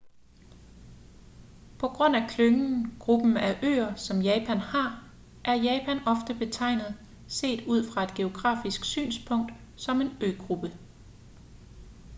på grund af klyngen/gruppen af øer som japan har er japan ofte betegnet set ud fra et geografisk synspunkt som en øgruppe